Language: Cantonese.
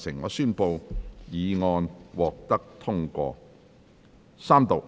我宣布議案獲得通過。